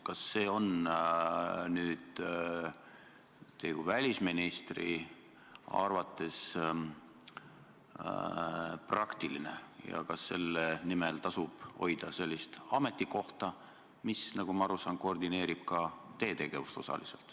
Kas see on teie kui välisministri arvates praktiline ja kas selle nimel tasub hoida sellist ametikohta, mille abil, nagu ma aru saan, koordineeritakse osaliselt ka teie tegevust?